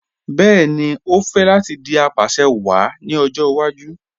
Bẹẹni, o fẹ́ láti dì apàṣẹwàá ní ọjọ́ ìwàjú